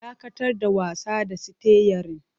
Dakatar da wasa da sitiyarin!